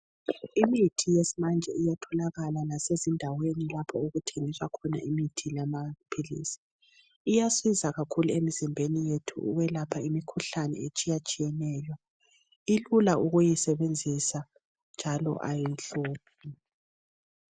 Imithi yesimanje iyatholakala lasezindaweni lapho okuthengiswa khona imithi yamaphilis. Iyasiza kkahulu emzimbeni yethu ukwelapha imikhuhlane etshiyetshiyeneyo. Ilula ukuyisebenzisa njalo ayihluphi.